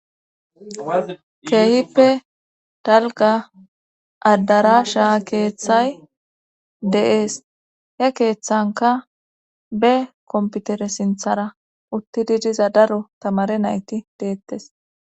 keehippe dalga addara shaa keeththay de'es he keeththanka be komputere sinthara utti di diza daro tamare nayti deettes